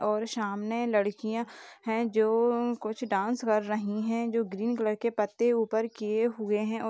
और सामने लड़कियाँ हैं जो कुछ डांस कर रही हैं जो ग्रीन कलर के पत्ते ऊपर किए हुए हैं औ --